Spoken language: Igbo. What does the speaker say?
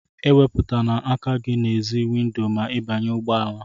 E wéputana aka gị n'èzí windo ma ị banye n'ụgbọ ala!